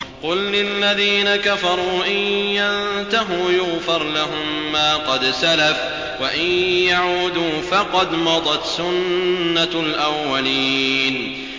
قُل لِّلَّذِينَ كَفَرُوا إِن يَنتَهُوا يُغْفَرْ لَهُم مَّا قَدْ سَلَفَ وَإِن يَعُودُوا فَقَدْ مَضَتْ سُنَّتُ الْأَوَّلِينَ